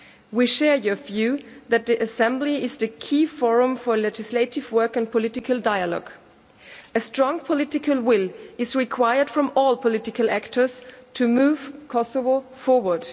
We share your view that the Assembly is the key forum for legislative work and political dialogue. A strong political will is required from all political actors to move Kosovo forward.